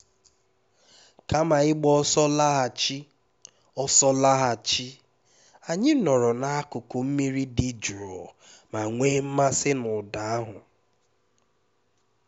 kama ịgba ọsọ laghachi ọsọ laghachi anyị nọrọ n'akụkụ mmiri dị jụụ ma nwee mmasị na ụda ahụ